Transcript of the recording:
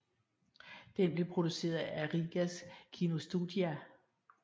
Den blev produceret af Rīgas kinostudija